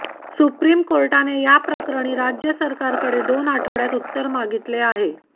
supreme कोर्टाने या प्रकरणी राज्य सरकारकडे दोन आठवड्यात उत्तर मागितले आहे